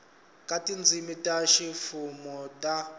ka tindzimi ta ximfumo ta